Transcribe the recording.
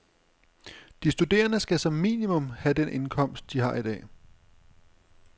De studerende skal som minimum have den indkomst, de har i dag.